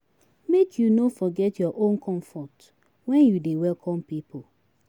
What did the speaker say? Make you no forget your own comfort wen you dey welcome pipu.